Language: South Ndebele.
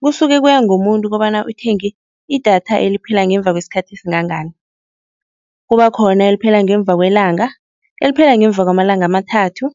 Kusuke kuya ngomuntu kobana uthenge idatha eliphela ngemva kwesikhathi esingangani. Kuba khona eliphela ngemva kwelanga, eliphela ngemva kwamalanga amathathu,